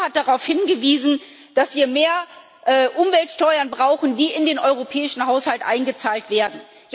Herr Lamassoure hat darauf hingewiesen, dass wir mehr Umweltsteuern brauchen, die in den europäischen Haushalt eingezahlt werden.